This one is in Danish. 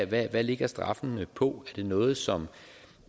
hvad ligger straffene på det noget som